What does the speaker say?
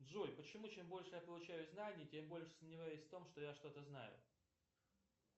джой почему чем больше я получаю знаний тем больше я сомневаюсь в том что я что то знаю